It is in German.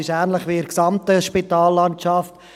Es ist ähnlich wie in der gesamten Spitallandschaft.